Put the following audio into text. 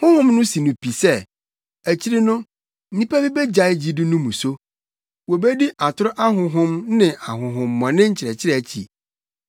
Honhom no si no pi sɛ, akyiri no, nnipa bi begyae gyidi no mu so. Wobedi atoro ahonhom ne ahonhommɔne nkyerɛkyerɛ akyi.